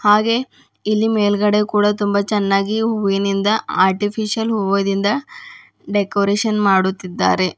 ಹಾಗೆ ಇಲ್ಲಿ ಮೇಲ್ಗಡೆ ಕೂಡ ತುಂಬ ಚೆನ್ನಾಗಿ ಹೂವಿನಿಂದ ಆರ್ಟಿಪಿಶಲ್ ಹೂವದಿಂದ ಡೆಕೋರೇಷನ್ ಮಾಡುತ್ತಿದ್ದಾರೆ.